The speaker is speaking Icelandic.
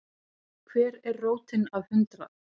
Hver er rótin af hundrað?